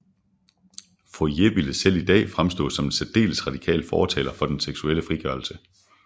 Fourier ville selv i dag fremstå som en særdeles radikal fortaler for den seksuelle frigørelse